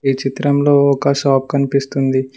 ఈ చిత్రంలో ఒక షాప్ కనిపిస్తుంది.